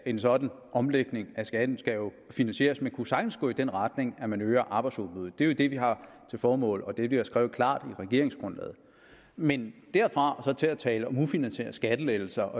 en sådan omlægning af skatten skal finansieres man kunne sagtens gå i den retning at man øger arbejdsudbuddet det er jo det vi har til formål og det vi har skrevet klart i regeringsgrundlaget men derfra og så til at tale om at ufinansierede skattelettelser